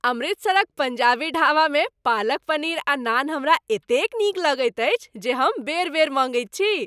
अमृतसरक पङ्जाबी ढाबामे पालक पनीर आ नान हमरा एतेक नीक लगैत अछि जे हम बेर बेर मँगैत छी।